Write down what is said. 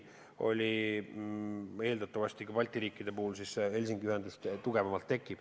Ja eeldatavasti Balti riikide puhul ka Helsingi ühendus muutub kindlamaks.